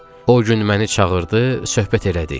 O gün məni çağırdı, söhbət elədik.